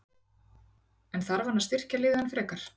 En þarf hann að styrkja liðið enn frekar?